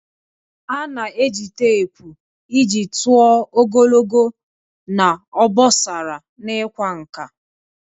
A na-eji teepu iji tụọ ogologo na obosara n'ịkwa nkà.